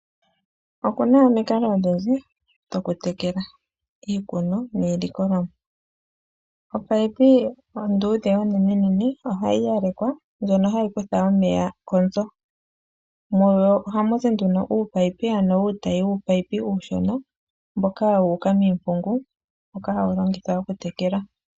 Oku na omikalo odhindji dhokutekela iikono niilikolomwa. Opayipi onduudhe onenene ohayi yalekwa ndjono hayi kutha omeya konzo. Mu yo ohamu zi nduno uupayipi, ano uutayi wuupayipi uushona mboka wu uka miimpungu mboka hawu longithwa okutekela.